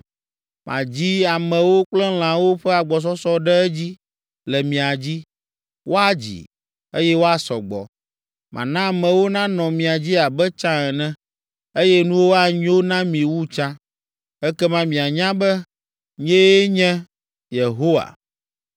Madzi amewo kple lãwo ƒe agbɔsɔsɔ ɖe edzi le mia dzi, woadzi, eye woasɔ gbɔ. Mana amewo nanɔ mia dzi abe tsã ene, eye nuwo anyo na mi wu tsã. Ekema mianya be, nyee nye Yehowa.